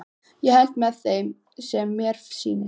Ég held með þeim sem mér sýnist!